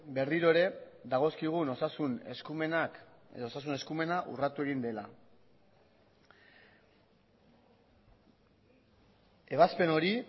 berriro ere dagozkigun osasun eskumenak edo osasun eskumena urratu egin dela ebazpen hori